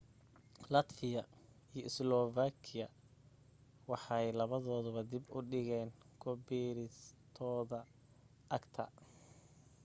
latvia iyo slovakia waxay labadooduba dib u dhigeen ku biiristooda acta